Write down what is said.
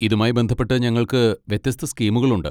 ഇതുമായി ബന്ധപ്പെട്ട് ഞങ്ങൾക്ക് വ്യത്യസ്ത സ്കീമുകൾ ഉണ്ട്.